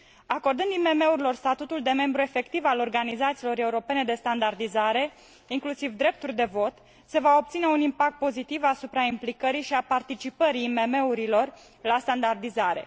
Acordând IMM urilor statutul de membru efectiv al organizațiilor europene de standardizare, inclusiv drepturi de vot, se va obține un impact pozitiv asupra implicării și a participării IMM urilor la standardizare.